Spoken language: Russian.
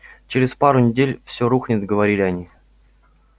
через пару недель всё рухнет говорили они